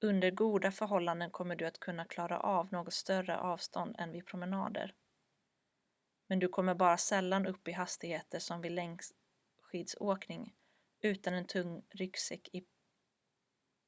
under goda förhållanden kommer du att kunna klara av något större avstånd än vid promenader men du kommer bara sällan upp i hastigheter som vid längdskidåkning utan en tung ryggsäck i